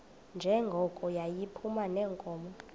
njengoko yayiphuma neenkomo